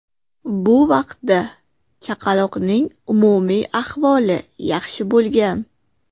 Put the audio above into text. Bu vaqtda chaqaloqning umumiy ahvoli yaxshi bo‘lgan.